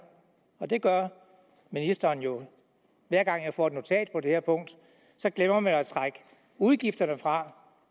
med og det gør ministeren jo hver gang jeg får et notat på det her punkt så glemmer man at trække udgifterne fra